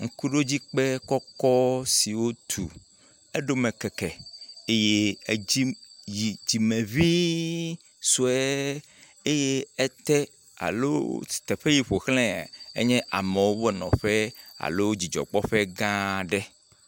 Ŋkuɖodzikpe kɔkɔ si wotu. Edome keke eye edzi yi dzime ŋii sue eye ete alo s.. teƒe yi ƒoxlae enye amewo ƒe nɔƒe alo dzidzɔkpɔƒe gã aɖe.